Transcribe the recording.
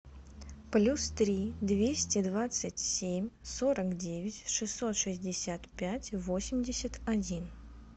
плюс три двести двадцать семь сорок девять шестьсот шестьдесят пять восемьдесят один